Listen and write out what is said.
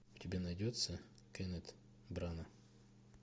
у тебя найдется кеннет брана